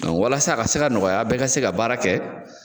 Dɔn walasa a ka se ka nɔgɔya bɛ ka se ka baara kɛ